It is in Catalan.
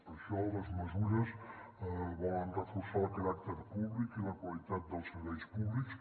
per això les mesures volen reforçar el caràcter públic i la qualitat dels serveis públics